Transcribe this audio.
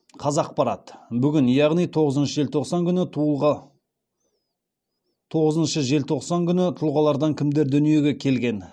қазақпарат бүгін яғни тоғызыншы желтоқсан күні тұлғалардан кімдер дүниеге келген